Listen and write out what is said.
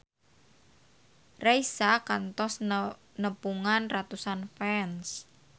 Raisa kantos nepungan ratusan fans